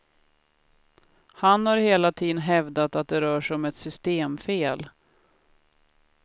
Han har hela tiden hävdat att det rör sig om ett systemfel.